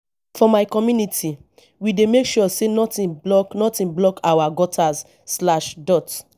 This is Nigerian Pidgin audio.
for my community we dey make sure sey nothing block nothing block our gutters.